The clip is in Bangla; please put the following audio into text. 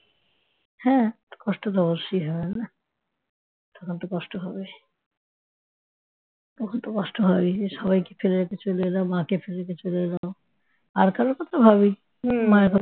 হ্যাঁ কষ্ট তো অবশ্যই হবে না? তখন তো কষ্ট হবেই হতো কষ্ট হবেই সবাইকে ফেলে রেখে চলে এলাম মাকে ফেলে রেখে চলে এলাম আর কারো কথা ভাবি নি মায়ের কথা